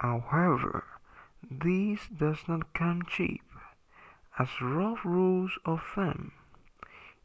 however this does not come cheap as rough rules of thumb